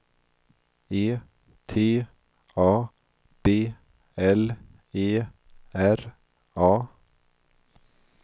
E T A B L E R A